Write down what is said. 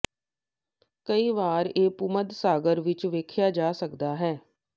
ਕਈ ਵਾਰ ਇਹ ਭੂਮੱਧ ਸਾਗਰ ਵਿੱਚ ਵੇਖਿਆ ਜਾ ਸਕਦਾ ਹੈ